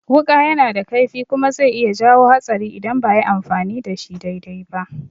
Wuƙa yana da kaifi kuma zai iya jawo hatsari idan ba ayi amfani da shi dai-dai ba